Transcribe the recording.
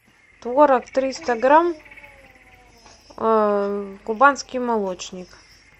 творог триста грамм кубанский молочник